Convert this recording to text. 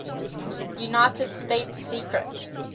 united states secret